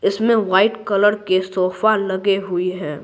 इसमें white colour के sofa लगे हुए हैं।